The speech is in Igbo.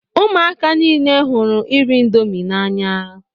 Ụmụaka niile hụrụ ịrị índomi na- anya.